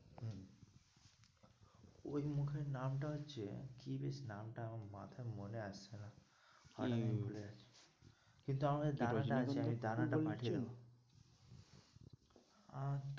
ওই মুখের নামটা হচ্ছে কি বেশ নামটা আমার মাথায় মনে আসছে না কি? কিন্তু আমার কাছে দানাটা আছে দানাটা পাঠিয়ে দেবো আহ